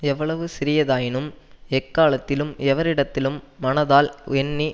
எவ்வளவு சிறியதாயினும் எக்காலத்திலும் எவரிடத்திலும் மனதால் எண்ணி